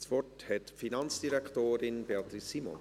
Das Wort hat die Finanzdirektorin Beatrice Simon.